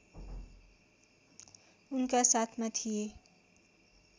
उनका साथमा थिए